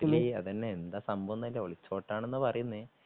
അതെന്നെ എന്താ സംഭവന്നൂല ഒളിച്ചോട്ടന്നാണ് പറയുന്നേ